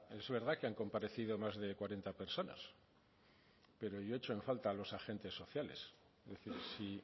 es verdad que han comparecido más de cuarenta personas pero yo echo en falta a los agentes sociales si